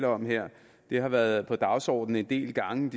om her det har været på dagsordenen en del gange